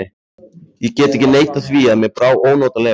Ég get ekki neitað því að mér brá ónotalega.